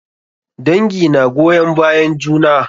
Dangi na goyon bayan juna.